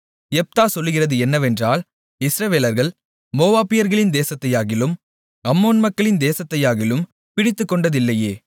யெப்தா சொல்லுகிறது என்னவென்றால் இஸ்ரவேலர்கள் மோவாபியர்களின் தேசத்தையாகிலும் அம்மோன் மக்களின் தேசத்தையாகிலும் பிடித்துக்கொண்டதில்லையே